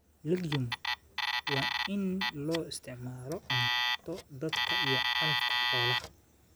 Legume: waa iniin loo isticmaalo cunto dadka iyo calafka xoolaha.